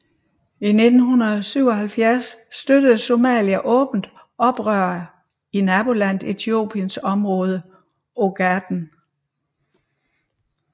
I 1977 støttede Somalia åbent oprørere i nabolandet Etiopiens område Ogaden